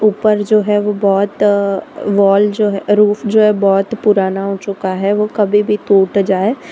ऊपर जो है वो बहोत वॉल जो है रूफ जो है बहोत पुराना हो चुका है वो कभी भी टूट जाए।